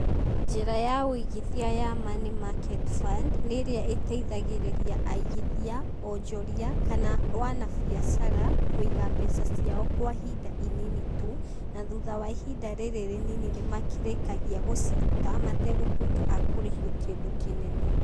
Njĩra ya ũigithia ya Money market fund, nĩ ĩrĩa ĩtaithagĩrĩria aigithia, onjoria, kana wanabiacara, kũiga mbeca ciao kwa ihinda inini tu, na thutha wa ihinda rĩrĩ rĩnini nĩmakĩrĩkagia gũciruta, mategũtuĩka akũrĩhio kĩndũ kĩnene.